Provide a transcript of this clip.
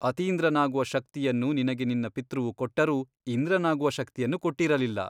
ಅತೀಂದ್ರನಾಗುವ ಶಕ್ತಿಯನ್ನು ನಿನಗೆ ನಿನ್ನ ಪಿತೃವು ಕೊಟ್ಟರೂ ಇಂದ್ರನಾಗುವ ಶಕ್ತಿಯನ್ನು ಕೊಟ್ಟಿರಲಿಲ್ಲ.